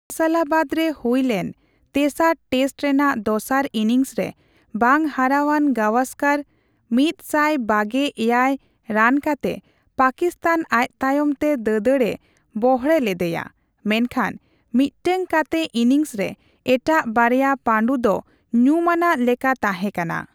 ᱯᱷᱚᱭᱥᱟᱞᱟᱵᱟᱫ ᱨᱮ ᱦᱩᱭ ᱞᱮᱱ ᱛᱮᱥᱟᱨ ᱴᱮᱥᱴ ᱨᱮᱱᱟᱜ ᱫᱚᱥᱟᱨ ᱤᱱᱤᱝᱥᱨᱮ ᱵᱟᱝ ᱦᱟᱨᱟᱣᱟᱱ ᱜᱟᱣᱥᱠᱟᱨ ᱑᱒᱗ ᱨᱟᱱ ᱠᱟᱛᱮ ᱯᱟᱠᱤᱥᱛᱟᱱ ᱟᱡᱛᱟᱭᱚᱢᱛᱮ ᱫᱟᱹᱫᱟᱹᱲ ᱮ ᱵᱚᱲᱦᱮ ᱞᱮᱫᱮᱭᱟ, ᱢᱮᱱᱠᱷᱟᱱ ᱢᱤᱫᱴᱟᱝ ᱠᱟᱛᱮ ᱤᱱᱤᱝᱥᱨᱮ ᱮᱴᱟᱜ ᱵᱟᱨᱭᱟ ᱯᱟᱹᱰᱩ ᱫᱚ ᱧᱩᱢ ᱟᱱᱟᱜ ᱞᱮᱠᱟ ᱛᱟᱸᱦᱮ ᱠᱟᱱᱟ ᱾